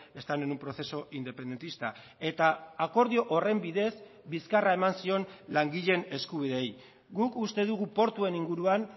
están en un proceso independentista eta akordio horren bidez bizkarra eman zion langileen eskubideei guk uste dugu portuen inguruan